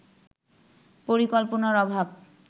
পরিকল্পনার অভাব